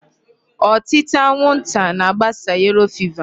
Ọtịta anwụnta na-agbasa yellow fever.